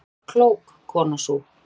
"""Hún var klók, konan sú."""